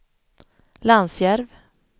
Lansjärv